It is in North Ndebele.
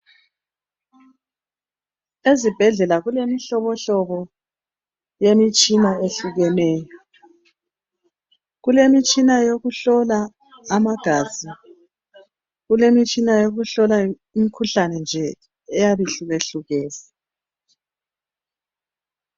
Ezibhedlela kulemihlobo hlobo yemitshini ehlukeneyo kulemitshina youkuhlola amagazi kulemitshina yokuhlola imikhuhlane nje eyabe ihlukahlukene.